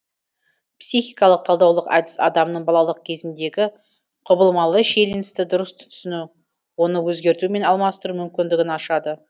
психикалық талдаулық әдіс адамның балалық кезіндегі құбылмалы шиеленісті дұрыс түсіну оны өзгерту мен алмастыру мүмкіндігін ашады